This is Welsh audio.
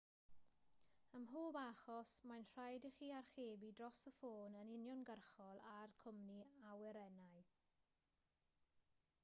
ym mhob achos mae'n rhaid i chi archebu dros y ffôn yn uniongyrchol â'r cwmni awyrennau